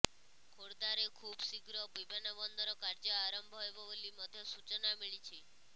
ଖୋର୍ଦ୍ଧାରେ ଖୁବ୍ ଶୀଘ୍ର ବିମାନବନ୍ଦର କାର୍ଯ୍ୟ ଆରମ୍ଭ ହେବ ବୋଲି ମଧ୍ୟ ସୂଚନା ମିଳିଛି